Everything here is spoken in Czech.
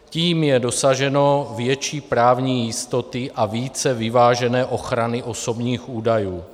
Tím je dosaženo větší právní jistoty a více vyvážené ochrany osobních údajů.